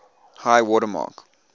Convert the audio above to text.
high water mark